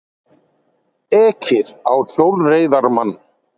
Ekið á hjólreiðamann